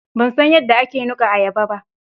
Ban san yadda ake nuka ayaba ba.